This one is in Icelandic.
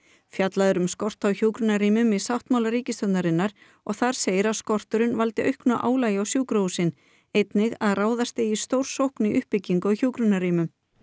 fjallað er um skort á hjúkrunarrýmum í sáttmála ríkisstjórnarinnar og þar segir að skorturinn valdi auknu álagi á sjúkrahúsin einnig að ráðast eigi í stórsókn í uppbyggingu á hjúkrunarrýmum